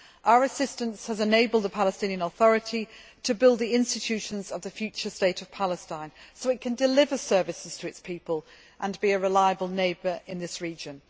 Our assistance has enabled the Palestinian Authority to build the institutions of the future state of Palestine, so that it can deliver services to its people and be a reliable neighbour in the region.